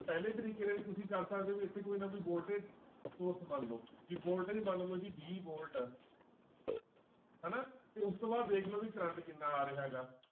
ਪਹਿਲੇ ਤਰੀਕੇ ਰਾਹੀਂ ਤੁਸੀਂ ਕਰ ਸਕਦੇ ਹੋ ਇੱਥੇ ਕੋਈ ਨਾ voltage source ਮੰਨ ਲਓ ਵੀ voltage ਮੰਨ ਲਓ ਜੀ ਵੀਹ volt ਹਨਾ ਤੇ ਉਸ ਤੋਂ ਬਾਅਦ ਦੇਖ ਲਓ ਵੀ ਕਰੰਟ ਕਿੰਨਾ ਆ ਰਿਹਾ ਹੈਗਾ।